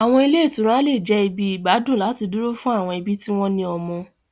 Àwọn ilé ìtura lè jẹ́ ibi ìgbádùn láti dúró fún àwọn ẹbí tí wọ́n ní ọmọ.